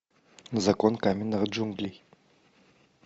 закон каменных джунглей